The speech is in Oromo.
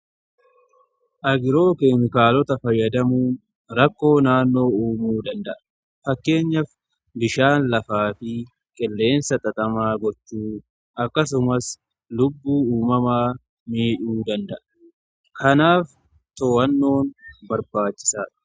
agiroo keemkaalota fayyadamuu , rakkoo naannoo uumuu danda'a. fakkeenyaf bishaan lafaa fi qilleensa xaxamaa gochuu akkasumas lubbuu uumamaa midhuu danda'a. kanaaf too'annoon barbaachisaa.